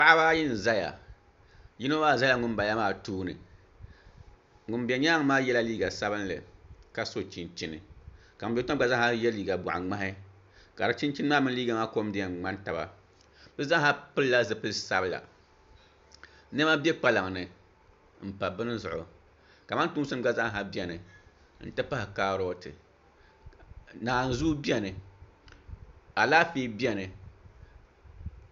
Paɣaba ayi n ʒɛya yino maa ʒɛla ŋunbala maa tooni ŋun bɛ nyaangi maa yɛla liiga sabinli ka so chunchini ka ŋun bɛ tiŋli maa gba zaa yɛ liiga ŋmahi ka di chinchin maa mini liiga maa kom di yɛn ŋmani taba bi zaaha pilila zipili sabila niɛma bɛ kpaŋ ni n pa bini zuɣu kamantoosi gba zaaha biɛni n ti pahi kaaroti naanzuu biɛni alaafee biɛni